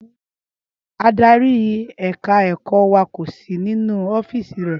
Ádárì ẹ̀ka ẹ̀kọ́ wa kò sì nínú ọ́fíìsì rẹ̀